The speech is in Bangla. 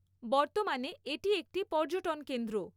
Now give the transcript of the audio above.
বৰ্তমানে এটি একটি পর্যটন কেন্দ্র।